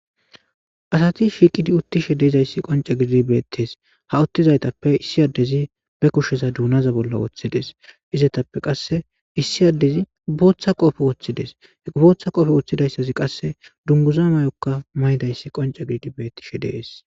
asati shiiqidi uttishe deezayssi qonca gidid bettes ha uttizaytappe issi addezi be kusheza duunaza bolla woththides izetappe qasse issi addezi ubooththa qoofe woththides ubooththa qoofe woththidayssazi qasse dunguza may7okka maydayssi qonca giddi bettishe dees